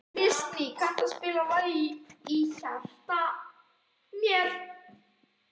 Kristný, kanntu að spila lagið „Í hjarta mér“?